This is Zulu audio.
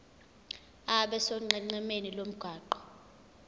abe sonqenqemeni lomgwaqo